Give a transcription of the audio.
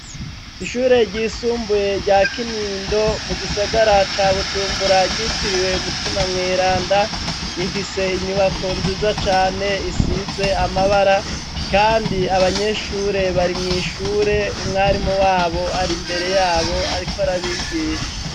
Ishure ryisumbuye rya Kinindo mu gisagara ca Bujumbura ryitiririwe Mutima Mweranda. Rifise inyubako nziza cane risize amabara Kandi abanyeshure bari mwishure umwarimu wabo Ari mbere yabo ariko arabigisha.